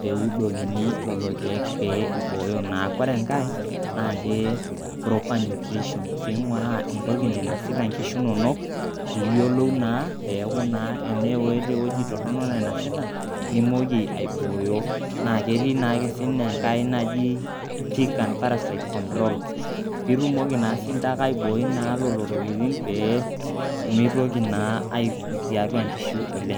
pee eudokini lelo keek, pee eibooyo naa. ore enkae naa proper nutrition. neing'uraa entoki nainosuta inkishu inonok, pee iyiolou naa peeku naa eneeta ewueji toronok nainosita, nimooki aibooyo. naa ketii naake sii ninye enkae naji tick and parasite control piitumoki naake siinince aibooi lelo tokitin pee mitoki naa aikut tiatua nkishu oleng.